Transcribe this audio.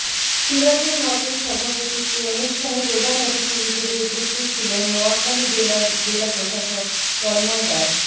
সিরাজুল হকের সভাপতিত্বে অনুষ্ঠানে প্রধান অতিথি হিসেবে উপস্থিত ছিলেন নোয়াখালী জেলার জেলা প্রশাসক তন্ময় দাস